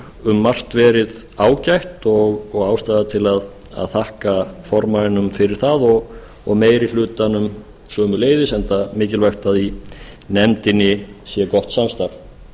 um margt verið ágætt og ástæða til að þakka formanninum fyrir það og meiri hlutanum sömuleiðis enda mikilvægt að í nefndinni sé gott samstarf